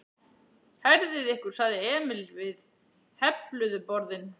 Herðið ykkur sagði Emil við hefluðu borðin.